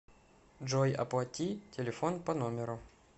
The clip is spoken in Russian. джой оплати телефон по номеру